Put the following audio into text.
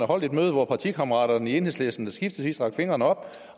holdt et møde hvor partikammeraterne i enhedslisten skiftevis har rakt fingeren op